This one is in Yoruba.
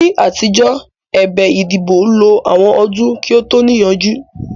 Ní àtijọ́, ẹ̀bẹ̀ ìdìbò lo àwọn ọdún kí ó tó níyanjú